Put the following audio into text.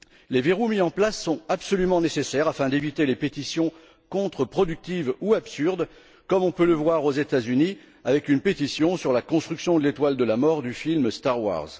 Les verrous mis en place sont absolument nécessaires afin d'éviter les pétitions contreproductives ou absurdes, comme on peut le voir aux États Unis avec une pétition sur la construction de l'étoile de la mort du film Star Wars